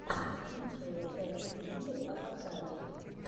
лучшая часть вулли аватарии